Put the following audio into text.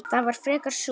Það var frekar súrt.